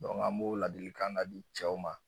an m'o laadilikan ka di cɛw ma.